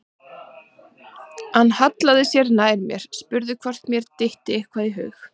Hann hallaði sér enn nær mér, spurði hvort mér dytti eitthvað í hug.